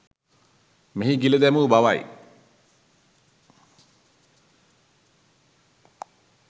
මෙය ගිල දැමූ බවයි.